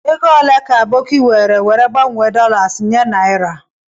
Ego ole ka Aboki were were gbanwe dolas nye naira?